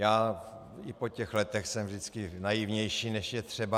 Já i po těch letech jsem vždycky naivnější, než je třeba.